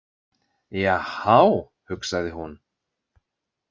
Jahá, hugsaði hún.